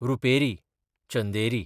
रुपेरी, चंदेरी